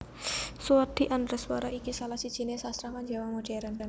Suwardi Endraswara iki salah sijiné sastrawan Jawa modhèrn